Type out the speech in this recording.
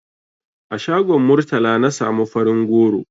A shagon Murtala na samu farin goro.